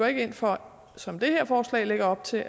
ikke ind for som det her forslag lægger op til